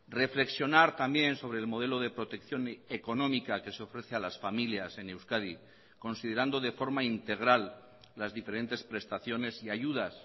reflexionar también sobre el modelo de protección económica que se ofrece a las familias en euskadi considerando de forma integral las diferentes prestaciones y ayudas